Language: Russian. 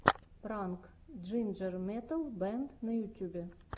пранк джинджер метал бэнд на ютюбе